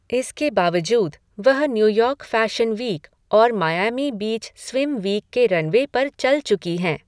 इसके बावजूद, वह न्यूयॉर्क फ़ैशन वीक और मायैमी बीच स्विम वीक के रनवे पर चल चुकी हैं।